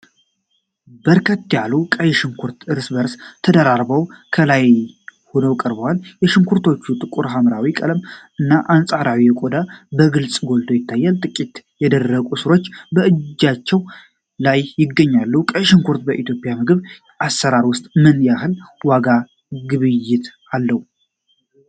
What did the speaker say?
በርከት ያሉ ቀይ ሽንኩርቶች እርስ በርስ ተደራርበው ከላይ ሆነው ቀርበዋል። የሽንኩርቶቹ ጥቁር ሐምራዊ ቀለም እና አንጸባራቂ ቆዳ በግልጽ ጎልቶ ይታያል። ጥቂቶቹ የደረቁ ሥሮች በእጃቸው ላይይገኛሉ። ቀይ ሽንኩርት በኢትዮጵያ ምግብ አሰራር ውስጥ ምን ያህል ዋና ግብአት ነው?